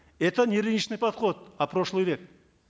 это не рыночный подход а прошлый век